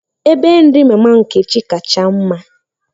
Ebe nri mama Nkechi kacha mma.